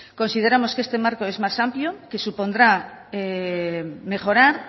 consideramos que este marco es más amplio que supondrá mejorar